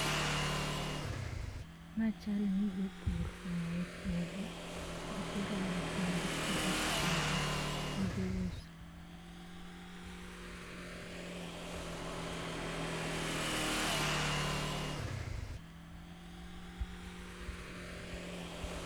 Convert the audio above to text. Mae chal ni jopur oae puodho, gitero alot magipuro e pudho, gidhi uso.